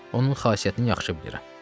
Onun xasiyyətini yaxşı bilirəm.